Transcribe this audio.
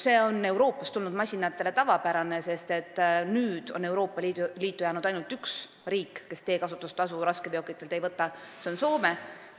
See on Euroopast tulnud masinate jaoks tavapärane, sest Euroopa Liitu on nüüdseks jäänud ainult üks riik, kes raskeveokitelt teekasutustasu ei võta, see on Soome.